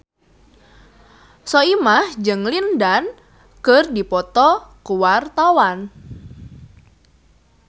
Soimah jeung Lin Dan keur dipoto ku wartawan